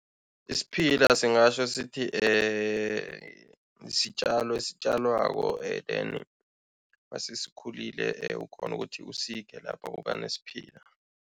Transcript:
Isiphila singatjho sithi sitjalo esitjalwako and then masesikhulile ukghona ukuthi usikhe lapha kuba nesiphila.